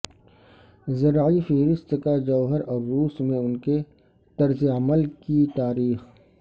زرعی فہرست کا جوہر اور روس میں ان کے طرز عمل کی تاریخ